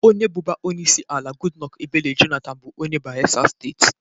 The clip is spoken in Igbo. Onye bụbu onyeisiala Goodluck Ebele Jonathan bụ onye Bayelsa Steeti